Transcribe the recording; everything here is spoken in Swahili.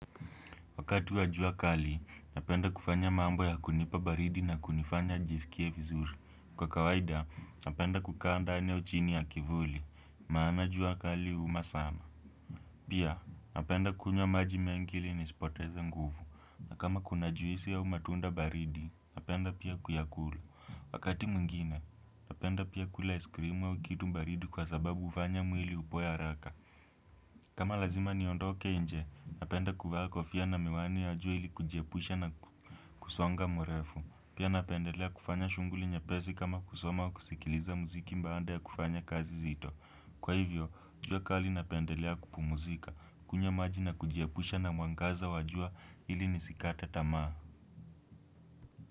Wakati wajua kali, napenda kufanya mambo ya kunipa baridi na kunifanya nijiskie vizuri. Kwa kawaida, napenda kukaa ndani au chini ya kivuli. Maana jua kali huuma sana. Pia, napenda kunywa maji mengi ili nisipoteza nguvu. Na kama kuna juisi au matunda baridi, napenda pia kuyakunywa Wakati mwingine, napenda pia kula iskrim au kitu baridi kwa sababu ufanya mwili upoe haraka. Kama lazima niondoke nje, napenda kuvaa kofia na miwani ya jua ili kujiepusha na kusonga mrefu. Pia napendelea kufanya shughuli nyepesi kama kusoma au kusikiliza muziki mbaada ya kufanya kazi zito. Kwa hivyo, jua kali napendelea kupumzika. Kunywa maji na kujiepusha na mwangaza wajua ili nisikata tamaa.